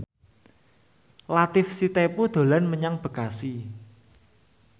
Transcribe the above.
Latief Sitepu dolan menyang Bekasi